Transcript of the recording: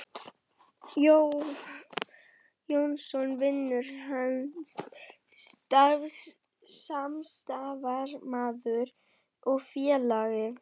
Jónsson: vinur hans, samstarfsmaður og félagi.